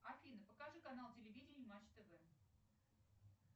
афина покажи канал телевидения матч тв